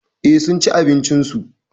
Eh, sunci abincin su.